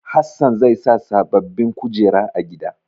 Hassan zai sa sababbin kujeru a gida.